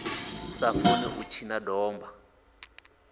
sa funi u tshina domba